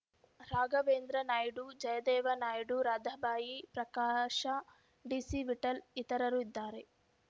ರಾಘವೇಂದ್ರ ನಾಯ್ಡು ಜಯದೇವ ನಾಯ್ಡು ರಾಧಾಬಾಯಿ ಪ್ರಕಾಶ ಡಿಸಿವಿಠಲ್‌ ಇತರರು ಇದ್ದಾರೆ